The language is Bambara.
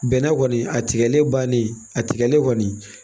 Bɛnɛ kɔni a tigɛlen bannen a tigɛlen kɔni